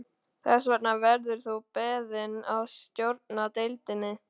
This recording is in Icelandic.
Þess vegna verður þú beðinn að stjórna deildinni